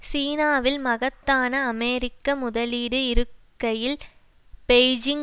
சீனாவில் மகத்தான அமெரிக்க முதலீடு இருக்கையில் பெய்ஜிங்